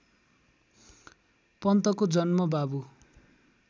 पन्तको जन्म बाबु